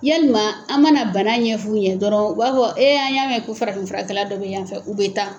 Yalima an mana bana ɲɛf'u ɲɛ dɔrɔn u b'a fɔ an y'a mɛ ko farafin furakɛla dɔ be yan fɛ u be taa